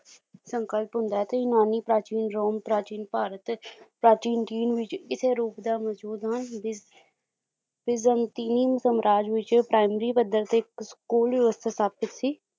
ਸੰਕਲਪ ਹੁੰਦਾ ਹੈ ਤੇ ਇਮਾਨੀ ਪ੍ਰਾਚੀਨ ਰੋਮ ਪ੍ਰਾਚੀਨ ਭਾਰਤ ਪ੍ਰਾਚੀਨ ਚੀਨ ਵਿੱਚ ਇਸੇ ਰੂਪ ਦਾ ਮੌਜੂਦ ਹਨ ਜਿਸ ਜਿਸ ਦਾ ਅੰਤਿਮ ਸਾਮਰਾਜ ਵਿੱਚ primary ਪੱਧਰ ਤੇ school ਵਿਵਸਥਾ ਸਥਾਪਿਤ ਸੀ